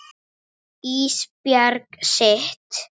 Ísbjörg sitt.